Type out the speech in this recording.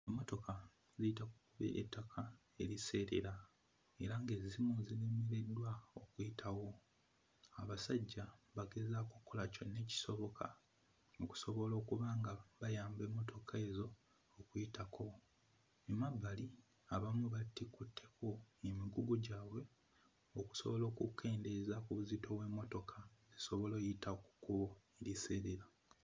Emmotoka eyita ku kkubo ery'ettaka eriseerera era ng'ezimu ziremereddwa okuyitawo. Abasajja bagezaako okkola kyonna ekisoboka okusobola okuba nga bayamba emmotoka ezo okuyitako. Mu mabbali abamu batikuddeko emigugu gyabwe okusobola okukendeeza ku buzito bw'emmotoka esobole oyita ku kkubo eriseerera.